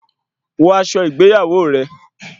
Wọ aṣọ ìgbéyàwó rẹ